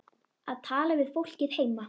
Að tala við fólkið heima.